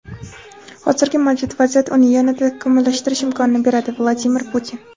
hozirgi mavjud vaziyat uni yanada takomillashtirish imkonini beradi – Vladimir Putin.